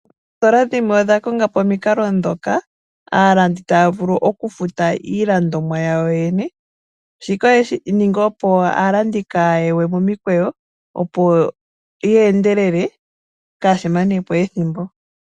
Oositola dhimwe odha konga po omikalo dhoka aalandi taya vulu oku futa iilandomwa yoyene. Shika oye shiningi opo aalandi kaaya ye momikweyo opo ye endelele sho kaaya manepo ethimbo.